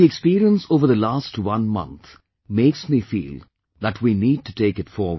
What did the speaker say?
But the experience over the last one month makes me feel that we need to take it forward